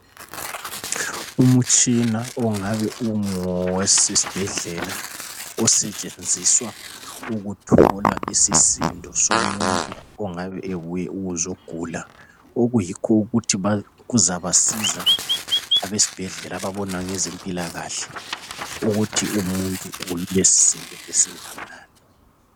Umtshina ongabe ungowasesibhedlela osetshenziswa ukuthola isisindo somuntu ongabe ebuye ukuzolatshwa okuyikho ukuthi kuzabasiza abesibhedlela ababona ngezempilakahle ukuthi lumuntu ulesisindo esinganani.